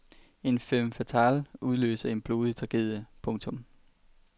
En femme fatale udløser en blodig tragedie. punktum